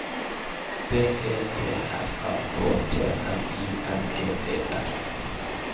B E T R A K T N I N G E R